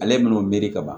Ale n'o miiri ka ban